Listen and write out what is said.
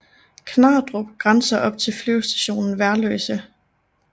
Knardrup grænser op til Flyvestation Værløse